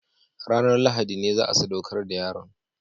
Ranar Lahadi ne za a sadaukar da yaron